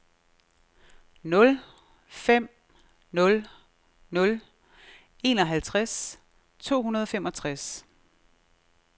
nul fem nul nul enoghalvtreds to hundrede og femogtres